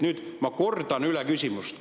Nüüd ma kordan küsimust.